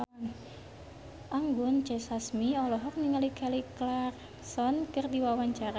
Anggun C. Sasmi olohok ningali Kelly Clarkson keur diwawancara